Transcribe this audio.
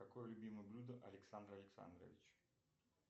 какое любимое блюдо александра александровича